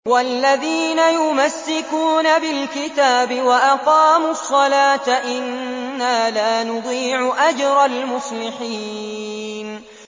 وَالَّذِينَ يُمَسِّكُونَ بِالْكِتَابِ وَأَقَامُوا الصَّلَاةَ إِنَّا لَا نُضِيعُ أَجْرَ الْمُصْلِحِينَ